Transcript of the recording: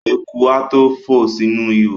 Eku a tó fò sínú ihò.